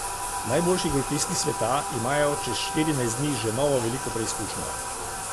Najboljši golfisti sveta imajo čez štirinajst dni že novo veliko preizkušnjo.